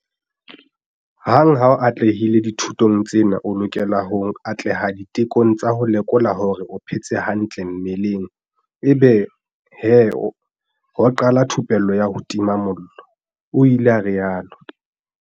"Hang ha o atlehile dithutong tsena o lokela ho atleha ditekong tsa ho lekola hore o phetse hantle mmeleng ebe he ho qala thupello ya ho tima mollo," o ile a rialo.